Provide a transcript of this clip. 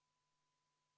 V a h e a e g